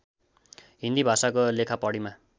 हिन्दी भाषाको लेखापढीमा